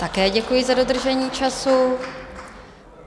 Také děkuji za dodržení času.